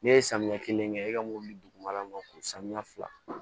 Ne ye samiya kelen kɛ e ka mobili dugumala man k'o saniya fila